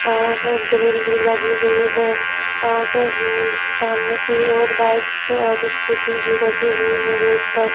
और ग्रिल भी लगी हुई है और हम्म सामने की ओर बाइकस और स्कूटी भी रखी हुई है रोड पर।